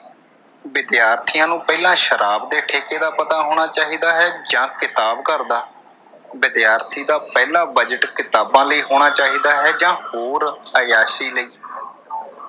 ਵਿਦਿਆਰਥੀਆਂ ਨੂੰ ਪਹਿਲਾਂ ਸ਼ਰਾਬ ਦੇ ਠੇਕੇ ਦਾ ਪਤਾ ਹੋਣਾ ਚਾਹੀਦਾ ਹੈ ਜਾਂ ਕਿਤਾਬ ਘਰ ਦਾ? ਵਿਦਿਆਰਥੀ ਦਾ ਪਹਿਲਾ ਬਜ਼ਟ ਕਿਤਾਬਾਂ ਲਈ ਹੋਣਾ ਚਾਹੀਦਾ ਹੈ ਜਾਂ ਹੋਰ ਅਯਾਸ਼ੀ ਲਈ।